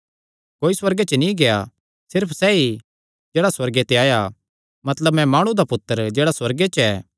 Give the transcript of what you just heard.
कोई सुअर्गे च नीं गेआ सिर्फ सैई जेह्ड़ा सुअर्गे ते आया मतलब मैं माणु दा पुत्तर जेह्ड़ा सुअर्गे च ऐ